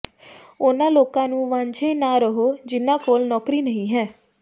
ਉਨ੍ਹਾਂ ਲੋਕਾਂ ਨੂੰ ਵਾਂਝੇ ਨਾ ਰਹੋ ਜਿਨ੍ਹਾਂ ਕੋਲ ਨੌਕਰੀ ਨਹੀਂ ਹੈ